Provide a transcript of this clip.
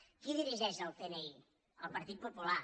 qui dirigeix el cni el partit popular